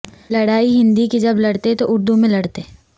لڑائی ہندی کی جب لڑتئیں تو اردو میں لڑتئیں